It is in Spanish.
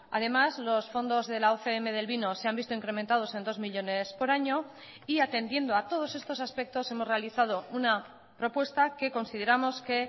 además los fondos de la ocm del vino se han visto incrementados en dos millónes por año y atendiendo a todos estos aspectos hemos realizado una propuesta que consideramos que